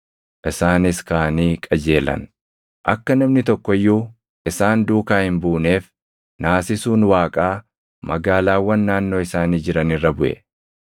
Isaanis kaʼanii qajeelan; akka namni tokko iyyuu isaan duukaa hin buuneef naasisuun Waaqaa magaalaawwan naannoo isaanii jiran irra buʼe.